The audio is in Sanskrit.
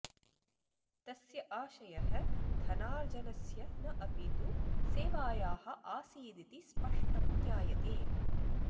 तस्य आशयः धनार्जनस्य न अपि तु सेवायाः आसीदिति स्पष्टं ज्ञायते